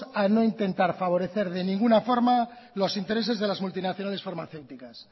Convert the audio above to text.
a no intentar favorecer de ninguna forma los intereses de las multinacionales farmacéuticas